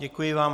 Děkuji vám.